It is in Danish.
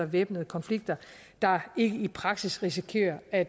væbnede konflikter der ikke i praksis risikerer at